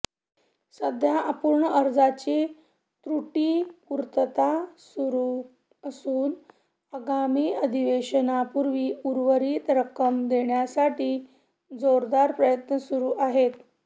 सध्या अपूर्ण अर्जांची त्रुटीपूर्तता सुरू असून आगामी अधिवेशनापूर्वी उर्वरित रक्कम देण्यासाठी जोरदार प्रयत्न सुरू आहेत